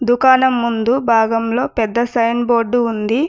దుకాణం ముందు భాగంలో పెద్ద సైన్ బోర్డు ఉంది.